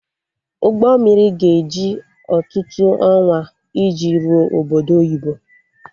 Ụgbọ mmiri ga-eji ọtụtụ ọnwa iji rụọ obodo oyibo